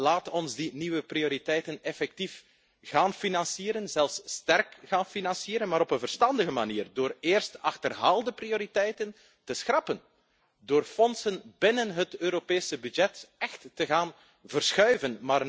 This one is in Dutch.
Laat ons die nieuwe prioriteiten effectief gaan financieren zelfs sterk gaan financieren maar op een verstandige manier, door eerst achterhaalde prioriteiten te schrappen, door middelen binnen de Europese begroting echt te gaan verschuiven.